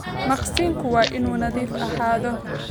Maqsinku waa inuu nadiif ahaadaa